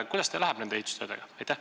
Kuidas teil läheb nende ehitustöödega?